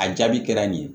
A jaabi kɛra nin ye